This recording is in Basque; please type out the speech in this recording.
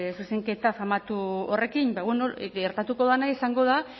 zuzenketa famatu horrekin ba bueno gertatuko dena izango da